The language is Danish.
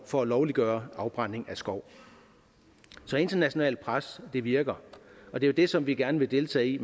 for lovliggørelse af afbrænding af skov så internationalt pres virker og det er det som vi gerne vil deltage i